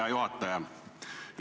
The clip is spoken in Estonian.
Hea juhataja!